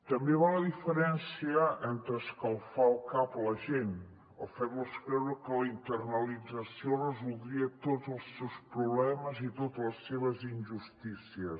també va la diferència entre escalfar el cap a la gent o fer los creure que la internalització resoldria tots els seus problemes i totes les seves injustícies